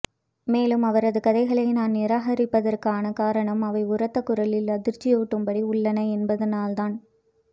மேலும் அவரது கதைகளை நான் நிராகரிப்பதற்கான காரணம் அவை உரத்த குரலில் அதிர்ச்சியூட்டும்படி உள்ளன என்பதனால்தான்